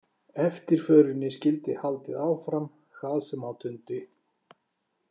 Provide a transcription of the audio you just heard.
Eftirförinni skyldi haldið áfram hvað sem á dundi.